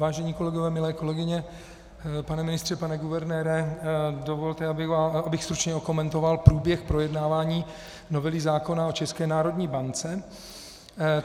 Vážení kolegové, milé kolegyně, pane ministře, pane guvernére, dovolte, abych stručně okomentoval průběh projednávání novely zákona o České národní bance.